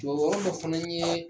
Jɔyɔrɔ dɔ fana ye